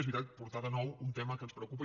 és veritat portar de nou un tema que ens preocupa